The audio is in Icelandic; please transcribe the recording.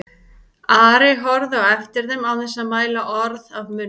Ari horfði á eftir þeim án þess að mæla orð af munni.